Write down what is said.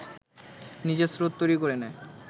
নিজের স্রোত তৈরি করে নেয়